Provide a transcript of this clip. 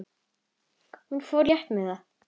Hún fór létt með það.